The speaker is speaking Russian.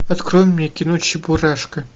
открой мне кино чебурашка